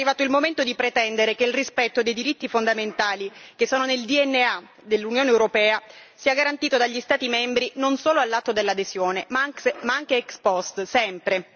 È arrivato il momento di pretendere che il rispetto dei diritti fondamentali che sono nel DNA dell'Unione europea sia garantito dagli Stati membri non solo all'atto dell'adesione ma anche ex post, sempre.